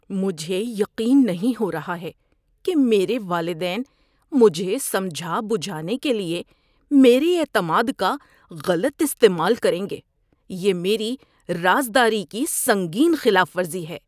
مجھے یقین نہیں ہو رہا ہے کہ میرے والدین مجھے سمجھا بجھانے کے لیے میرے اعتماد کا غلط استعمال کریں گے۔ یہ میری رازداری کی سنگین خلاف ورزی ہے۔